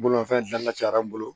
Bolimafɛn dana cayara n bolo